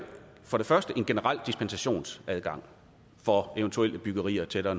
for det første en generel dispensationsadgang for eventuelle byggerier tættere